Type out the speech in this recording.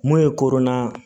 Mun ye koro na